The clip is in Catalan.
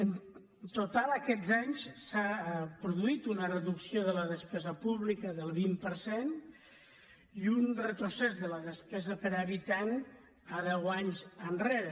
en total aquests anys s’ha produït una reducció de la despesa pública del vint per cent i un retrocés de la despesa per habitant a deu anys enrere